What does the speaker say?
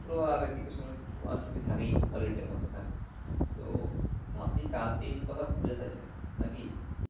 শুক্র আর এই দিকে শনি ছুটি তো থেকেই Holiday মধ্যে থেকেই তো ভাবছি চার দিন কোথায় ঘুরে আসা জাবে নাকি?